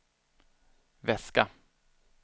väska